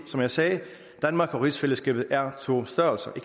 som jeg sagde danmark og rigsfællesskabet er to størrelser